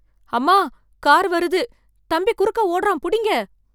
அம்மா! கார் வருது தம்பி குறுக்க ஓடுறான் புடிங்க